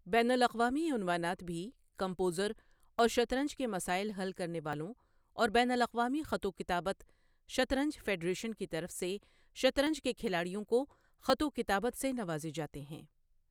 بین الاقوامی عنوانات بھی کمپوزر اور شطرنج کے مسائل حل کرنے والوں اور بین الاقوامی خط و کتابت شطرنج فیڈریشن کی طرف سے شطرنج کے کھلاڑیوں کو خط و کتابت سے نوازے جاتے ہیں۔